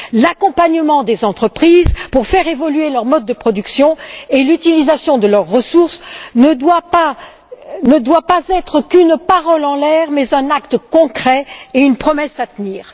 L'accompagnement des entreprises, pour faire évoluer leur mode de production et l'utilisation de leurs ressources, ne doit pas n'être qu'une parole en l'air mais un acte concret et une promesse à tenir.